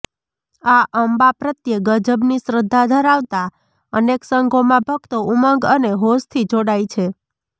મા અંબા પ્રત્યે ગજબની શ્રદ્ધા ધરાવતા અનેક સંઘોમાં ભકતો ઉમંગ અને હોંશથી જોડાય છે